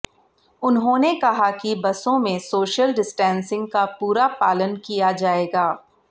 उन्होंने कहा कि बसों में सोशल डिस्टेंसिंग का पूरा पालन किया जाएगा